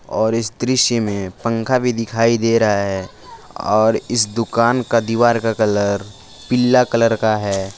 और इस दृश्य से में पंखा भी दिखाई दे रहा है और इस दुकान का दीवार का कलर पीला कलर का है।